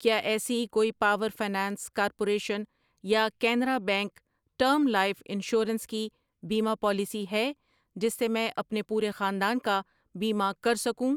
کیا ایسی کوئی پاور فنانس کارپوریشن یا Canara bank term life insurance کی بیمہ پالیسی ہے جس سے میں اپنے پورے خاندان کا بیمہ کر سکوں؟